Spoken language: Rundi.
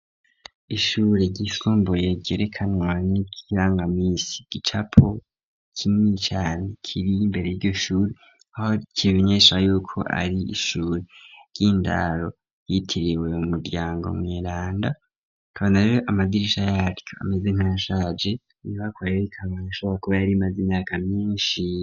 Ishure ry'isumbuye ryerekanwa n'ikirangamisi, igicapo kinini cane kiri imbere yiryo shure aho kimenyesha yuko ari ishure ry'indaro ryitiriwe umuryango mweranda, tukabonako amadirisha yaryo ameze nkashaje nibakwayb ikabane ashoboa kuba yari imaze imyaka myinshi.